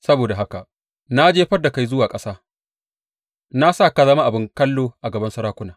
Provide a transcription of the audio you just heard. Saboda haka na jefar da kai zuwa ƙasa; na sa ka zama abin kallo a gaban sarakuna.